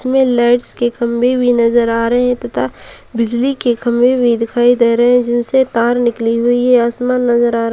इसमें लाइट्स के खंभे भी नजर आ रहे है तथा बिजली के खंभे भी दिखाई दे रहे है जिनसे तार निकली हुई है आसमान नजर आ रहे --